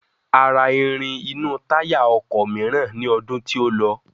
A ra irin inú táyà ọkọ̀ mìíràn ní ọdún tí ó lọ.